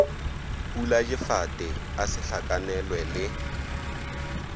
puladifate a se hlakanelwe le